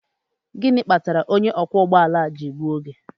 Gịnị kpatara onye ọkwọ ụgbọ ala ji egbu oge?